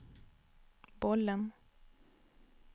bollen